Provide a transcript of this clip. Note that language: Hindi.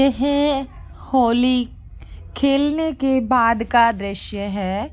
ये है होली खेलने के बाद का दृृश्य है।